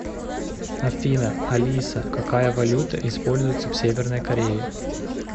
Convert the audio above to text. афина алиса какая валюта используется в северной корее